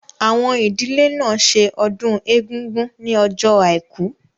Àwọn ìdílé náà ṣe ọdún Egúngún ní ọjọ́ àìkú